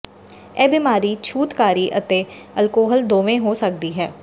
ਇਹ ਬਿਮਾਰੀ ਛੂਤਕਾਰੀ ਅਤੇ ਅਲਕੋਹਲ ਦੋਵੇਂ ਹੋ ਸਕਦੀ ਹੈ